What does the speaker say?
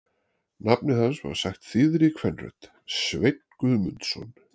Nafnið hans var sagt þýðri kvenrödd: Sveinn Guðmundsson?